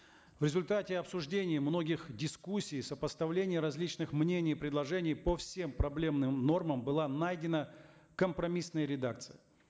в результате обсуждений многих дискуссий соспоставления различных мнений предложений по всем проблемным нормам была найдена компромиссная редакция